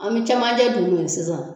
An bɛ camanjɛ dunun sisan